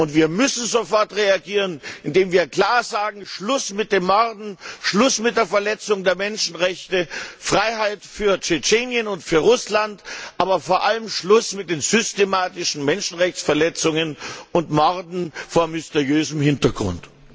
Und wir müssen sofort reagieren, indem wir klar sagen Schluss mit dem Morden, Schluss mit der Verletzung der Menschenrechte, Freiheit für Tschetschenien und für Russland, aber vor allem Schluss mit den systematischen Menschenrechtsverletzungen und Morden vor mysteriösem Hintergrund!